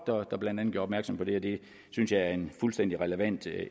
der blandt andet gjorde opmærksom på det og det synes jeg er en fuldstændig relevant